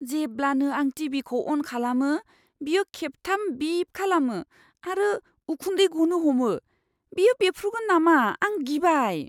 जेब्लानो आं टि.भि.खौ अन खालामो, बियो खेबथाम बिप खालामो आरो उखुन्दै गनो हमो। बेयो बेफ्रुगोन नामा आं गिबाय।